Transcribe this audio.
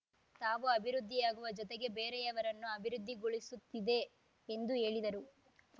ತಾವು ಅಭಿವೃದ್ಧಿಯಾಗುವ ಜೊತೆಗೆ ಬೇರೆಯವನ್ನೂ ಅಭಿವೃದ್ಧಿಗೊಳಿಸುತ್ತಿದೆ ಎಂದು ಹೇಳಿದರು